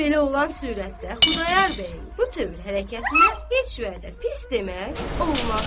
Belə olan surətdə Xudayar bəyin bu tövr hərəkətinə heç vədə pis demək olmaz.